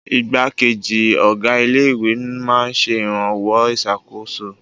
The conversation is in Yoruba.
Ìgbákejì ọ̀gá ilé-ìwé máa ń ṣe ìrànwọ́ ìṣàkóso.